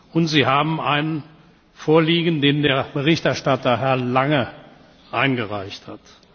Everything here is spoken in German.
Und Sie haben einen vorliegen, den der Berichterstatter, Herr Lange, eingereicht hat.